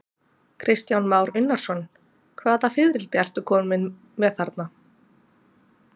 Kristján Már Unnarsson: Hvaða fiðrildi ertu kominn með þarna?